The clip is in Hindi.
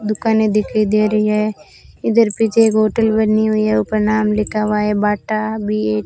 दुकाने दिखाई दे रही है इधर पीछे एक होटल बनी हुई है ऊपर नाम लिखा हुआ है बाटा बी_ए --